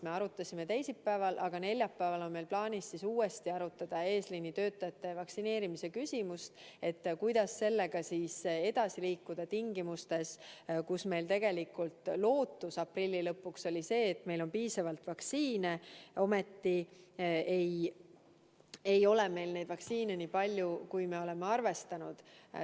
Me arutasime asja teisipäeval ja neljapäeval on meil plaanis uuesti arutada eesliini töötajate vaktsineerimist: kuidas sellega edasi liikuda tingimustes, kus me lootsime aprilli lõpuks jõuda selleni, et meil on piisavalt vaktsiine, aga tegelikult ei ole meil vaktsiini nii palju, kui me oleme arvestanud.